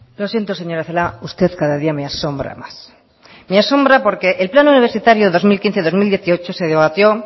lo siento señora celaá usted cada día me asombra más me asombra porque el plan universitario dos mil quince dos mil dieciocho se debatió